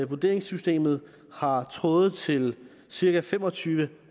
vurderingssystemet har tråde til cirka fem og tyve